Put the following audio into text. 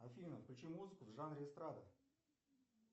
афина включи музыку в жанре эстрада